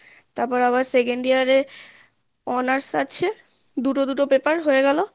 তারপর আবার second year এ honours আছে দুটো দুটো paper হয়ে গেলো